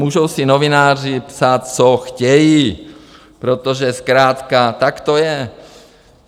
Můžou si novináři psát, co chtějí, protože zkrátka tak to je.